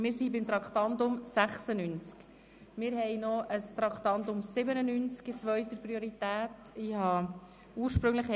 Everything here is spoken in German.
Wir sind beim Traktandum 96. Wir haben in zweiter Priorität noch ein Traktandum 97.